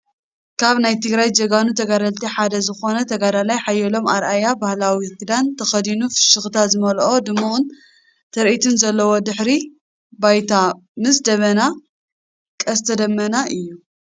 ካብ ናይ ትግራይ ጀጋኑ ተጋደልቲ ሓደ ዝኮነ ተጋዳላይ ሓየሎም ኣርኣያ ባህላዊ ክዳን ተከዲኑ ፍሽኽታ ዝመልኦ ድሙቕን ትርኢት ዘለዎን ድሕረ ባይታ ምስ ደበናን ቀስተ ደመናን እዩ።